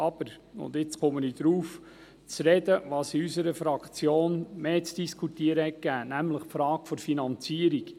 Aber: Jetzt komme ich darauf zu sprechen, was in unserer Fraktion zu Diskussionen Anlass gab, nämlich die Frage der Finanzierung.